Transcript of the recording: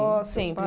Sempre seus